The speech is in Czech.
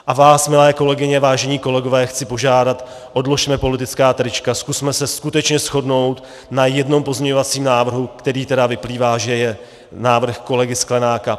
A vás, milé kolegyně, vážení kolegové, chci požádat: odložme politická trička, zkusme se skutečně shodnout na jednom pozměňovacím návrhu, který tedy vyplývá, že je návrh kolegy Sklenáka.